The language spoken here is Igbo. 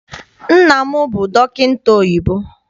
Nna m bụ dọkịta oyibo.